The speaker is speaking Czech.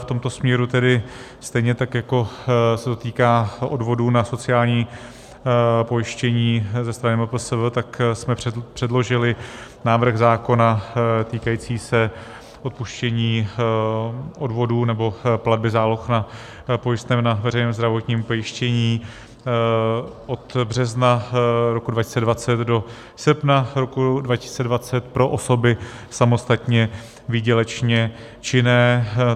V tomto směru tedy stejně tak jako se to týká odvodů na sociální pojištění ze strany MPSV, tak jsme předložili návrh zákona týkající se odpuštění odvodů nebo platby záloh na pojistném na veřejné zdravotní pojištění od března roku 2020 do srpna roku 2020 pro osoby samostatně výdělečně činné.